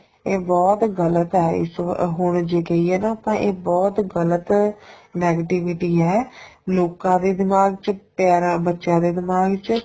ਇਹ ਬਹੁਤ ਗਲਤ ਏ ਇਸ ਹੁਣ ਜੇ ਕਹਿਏ ਨਾ ਤਾਂ ਇਹ ਬਹੁਤ ਗਲਤ negativity ਏ ਲੋਕਾ ਦੇ ਦਿਮਾਗ ਚ ਤੇ ਰਾ ਬੱਚਿਆਂ ਦੇ ਦਿਮਾਗ ਚ